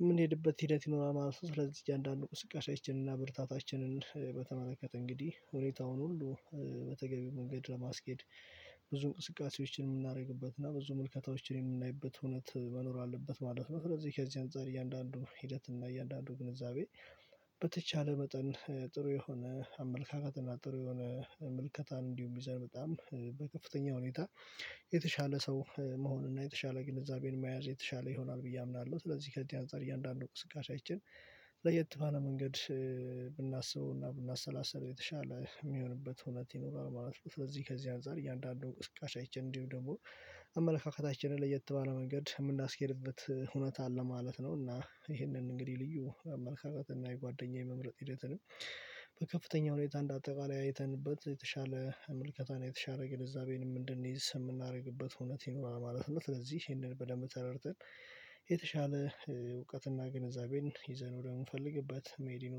የምንሄድበት ሂደት ይኖራል ማለት ነው። ስለዚህ እያንዳንዱ አንቅስቃሴያችን እና ብርታታችንን በተመለከተ እንግዲህ ሁኔታውን ሁሉ በተገቢው መንገድ ለማስኬድ ብዙ እንቅስቃሴዎችን የምናደርግበት እና ብዙ ምልከታዎችን የምናይበት እውነት መኖር አለበት ማለት ነው። ስለዚህ ከዚህ አንፃር እያንዳንዱ ሂደት እና እያንዳንዱ ግንዛቤ በተቻለ መጠን ጥሩ የሆነ አመለካከት እና ጥሩ የሆነ ምልከታን እንዲሁም ይዘን በጣም በከፍተኛ ሁኔታ የተሻለ ሰው መሆን እና የተሻለ ግንዛቤን መያዝ የተሻለ ይሆናል። ብዬ አምናለሁ ስለዚህ ከዚህ አንፃር እያንዳንዱ እንቅስቃሴያችን ለየት ባለ መንገድ ብናስበውና ብናሰላሰለው የተሻለ የሚሆንበት ሁኔታ ይኖራል ማለት ነው። ስለዚህ ከዚህ አንፃር እያንዳንዱን እንቅስቃሴያችን እንዲሁም ደግሞ አመለካከታችንን ለየት ባለ መንገድ የምናስኬድበት ሁነት አለ ማለት ነው። እና ይሄንን እንግዲህ ልዩ አመለካከት እና የጓደኛዬ መምረጥ ሂደትንም በከፍተኛ ሁኔታ እንዳጠቃላይ አይተንበት የተሻለ ምልከታን የተሻለ ግንዛቤንም እንድንይዝ የምናደርግበት እውነት ይኖራል ማለት ነው። ስለዚህ ይሄንን በደንብ ተረድተን የተሻለ እውቀትና ግንዛቤን ይዘን ወደምንፈልግበት መሄድ